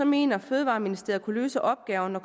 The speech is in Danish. mener fødevareministeriet at kunne løse opgaven når